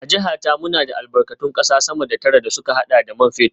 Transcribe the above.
A jiha ta, muna da albarkatun kasa sama da tara da suka hada da man fetur